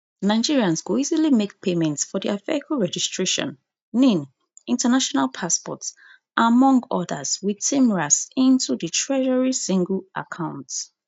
nigerians go easily make payment for dia vehicle registration nin international passport among odas wit tmras into di treasury single account